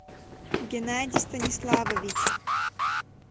генадий станиславович